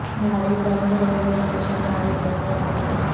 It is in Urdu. ناری bank railway station Nari bank میں واقع ہے